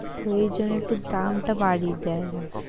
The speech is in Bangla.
তো ওই জন্য একটু দামটা দেয় ওরা ।"